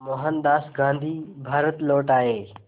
मोहनदास गांधी भारत लौट आए